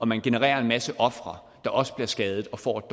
man genererer en masse ofre der også bliver skadet og får et